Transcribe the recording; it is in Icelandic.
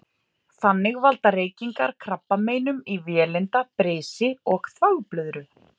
Þannig valda reykingar krabbameinum í vélinda, brisi og þvagblöðru.